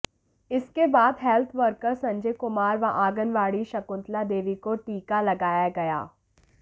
इसके बाद health worker Sanjay Kumar व आंगनबाड़ी शकुतंला देवी को टीका लगाया गया